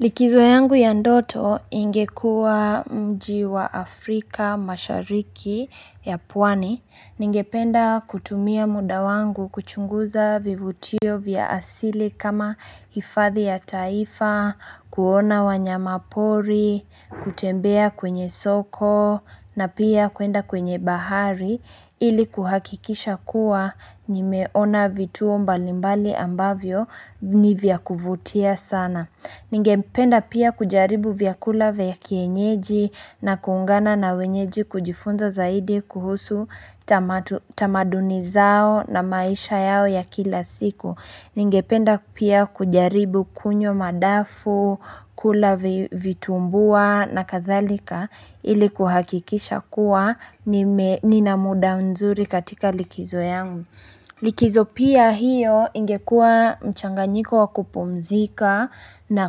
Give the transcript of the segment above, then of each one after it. Likizo yangu ya ndoto ingekua mjii wa Afrika mashariki ya pwani. Ningependa kutumia mda wangu kuchunguza vivutio vya asili kama hifadhi ya taifa, kuona wanyamapori, kutembea kwenye soko na pia kwenda kwenye bahari ili kuhakikisha kuwa nimeona vituo mbalimbali ambavyo nivya kuvutia sana. Ningependa pia kujaribu vyakula vya kienyeji na kuungana na wenyeji kujifunza zaidi kuhusu tamaduni zao na maisha yao ya kila siku. Ningependa pia kujaribu kunywa madafu, kula vitumbua na kathalika ili kuhakikisha kuwa nina mda mzuri katika likizo yangu. Likizo pia hiyo ingekua mchanganyiko wakupumzika na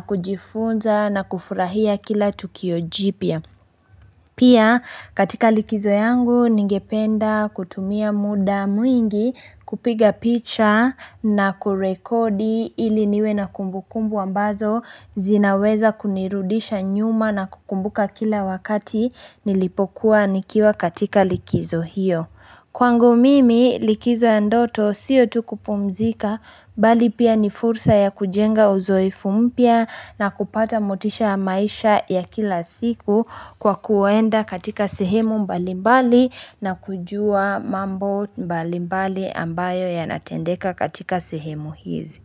kujifunza na kufurahia kila tukio jipya. Pia katika likizo yangu ningependa kutumia mda mwingi kupiga picha na kurekodi ili niwe na kumbukumbu ambazo zinaweza kunirudisha nyuma na kukumbuka kila wakati nilipokuwa nikiwa katika likizo hiyo. Kwangu mimi likizo ya ndoto sio tu kupumzika bali pia ni fursa ya kujenga uzoefu mpya na kupata motisha ya maisha ya kila siku kwa kwenda katika sehemu mbali mbali na kujua mambo mbali mbali ambayo yanatendeka katika sehemu hizi.